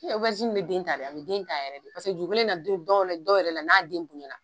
E obɛrizini bɛ den ta, a bɛ den yɛrɛ de paseke dugukolo in na, dɔw yɛrɛ la, den bonya la.